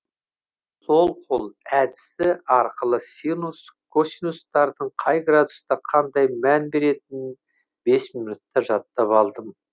сол қол әдісі арқылы синус косинустардың қай градуста қандай мән беретінін бес минутта жаттап алдым